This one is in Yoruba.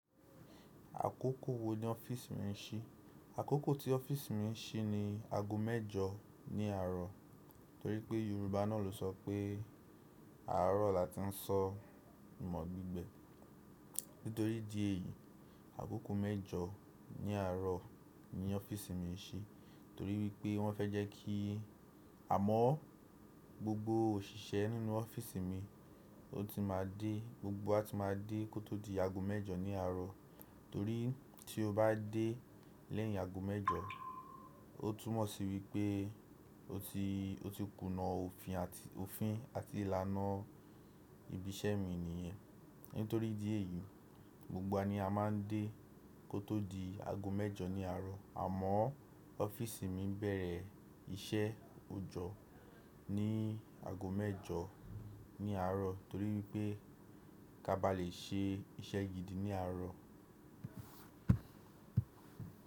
Akoko wo ni ọ́fíìsì mi n si? Akoko ti ọ́fíìsì mi n si ni ago mẹ́jọ ni àárọ̀, torí pe yorùbá náà lo sope àárọ̀ láti n fo ìmọ̀ gbigbe. Nítorí idí èyí, àgógò mẹ́jọ ní àárọ̀ ni ọ́fíìsì mi ń se torí wípé wọ́n fẹ́ jẹ́ kí, àmọ́ gbogbo òṣìṣẹ́ nínú ọ́fíìsì mi ó ti máa dé, gbogbo wa ti máa dé kó tó di aago mẹ́jọ ní àárọ̀. Torí tí o bá dé lẹ́yìn aago mẹ́jọ, ó túmọ̀ sí wípé o ti, o ti kùnà òfin àti, òfin àti ìlànà ibi iṣẹ́ mi nìyẹn. Nítorí idí èyí, gbogbo wa ni a má ń dé kó tó di aago mẹ́jọ ní àárọ̀. Àmọ́ ọ́fíìsì mi bẹ̀rẹ̀ iṣẹ́ òjọ́ ní aago mẹ́jọ ní àárọ̀ torí wípé ká ba lè ṣe iṣẹ́ gidi ní àárọ̀.